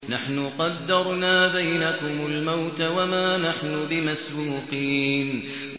نَحْنُ قَدَّرْنَا بَيْنَكُمُ الْمَوْتَ وَمَا نَحْنُ بِمَسْبُوقِينَ